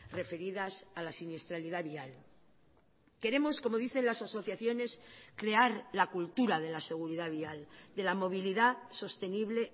referidas a la siniestralidad vial queremos como dicen las asociaciones crear la cultura de la seguridad vial de la movilidad sostenible